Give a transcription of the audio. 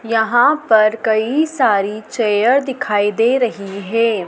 यहां पर कई सारी चेयर दिखाई दे रही है।